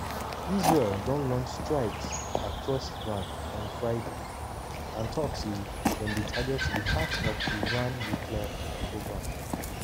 israel don launch strikes across iran on friday and tok say dem dey target di "heart" of iran nuclear programme.